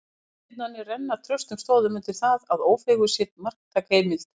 Þessar tilvitnanir renna traustum stoðum undir það, að Ófeigur sé marktæk heimild.